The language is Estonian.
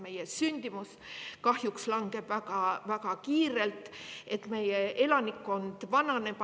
Meie sündimus kahjuks langeb väga-väga kiirelt, meie elanikkond vananeb.